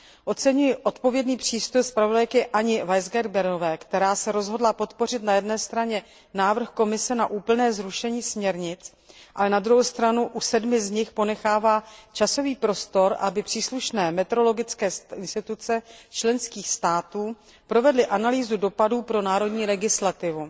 Oceňuji odpovědný přístup zpravodajky Anji Weisgerberové, která se rozhodla podpořit na jedné straně návrh Komise na úplně zrušení směrnic, ale na druhou stranu u sedmi z nich ponechává časový prostor, aby příslušné metrologické instituce členských států provedly analýzu dopadů pro národní legislativu.